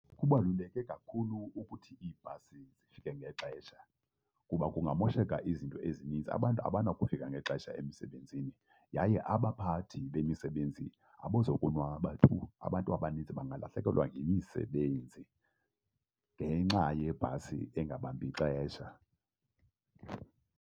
Kubaluleke kakhulu ukuthi iibhasi zifike ngexesha kuba kungamosheka izinto ezininzi. Abantu abanokufika ngexesha emisebenzini yaye abaphathi bemisebenzi abazokonwaba tu. Abantu abaninzi bangalahlekelwa yimisebenzi ngenxa yebhasi engabambi xesha.